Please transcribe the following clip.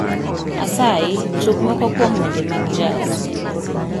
Asayi tug moko kuom wende mag jazz